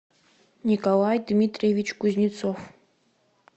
николай дмитриевич кузнецов